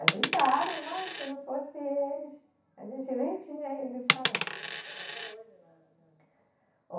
Ajudaram, mas se não fossem eles, a gente nem tinha ido para lá. E eles estão até hoje na, na. Ó